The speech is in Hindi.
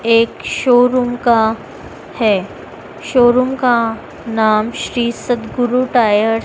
एक शोरूम का है शोरूम का नाम श्री सतगुरु टायर --